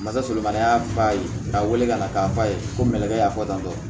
Masakɛ ma y'a ba ye k'a wele ka na k'a fɔ a ye ko nɛgɛ y'a fɔ tan tɔ